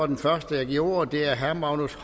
den første jeg giver ordet er herre magnus